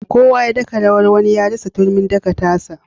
Kowa ya daka rawar wani ya rasa turmin daka ta sa.